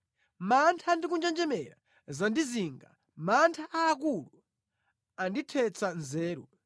Mantha ndi kunjenjemera zandizinga; mantha aakulu andithetsa nzeru.